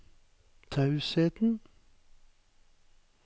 tausheten